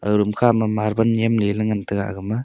aga room kha ma marble yem le ngan tega aga ma.